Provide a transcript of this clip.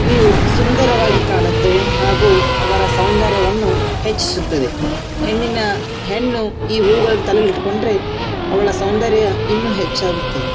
ಇವು ಸುಂದರವಾಗಿ ಕಾಣುತ್ತವೆ ಹಾಗು ಅವರ ಸೌಂದರ್ಯವನ್ನು ಹೆಚ್ಚಿಸುತ್ತದ್ದೆ ಹೆಣ್ಣಿನ ಹೆಣ್ಣು ಈ ಹೂವುಗಳನ್ನು ತಲೆಯಲ್ಲಿ ಇಟ್ಕೊಂಡ್ರೆ ಅವಳ ಸೌಂದರ್ಯ ಇನ್ನು ಹೆಚ್ಚಾಗುತ್ತದೆ.